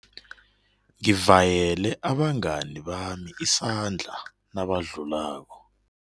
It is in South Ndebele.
Ngivayele abangani bami isandla nabadlulako.